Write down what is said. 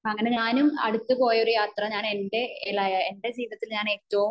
അങ്ങനെ ഞാനും അടുത്ത് പോയ ഒരു യാത്ര ഞാൻ എന്റെ ജീവിതത്തിൽ ഞാൻ ഏറ്റവും